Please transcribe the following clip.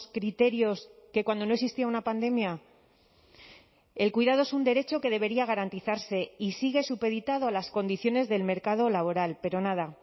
criterios que cuando no existía una pandemia el cuidado es un derecho que debería garantizarse y sigue supeditado a las condiciones del mercado laboral pero nada